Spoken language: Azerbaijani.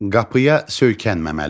Qapıya söykənməməli.